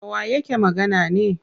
Dawa yake magana ne?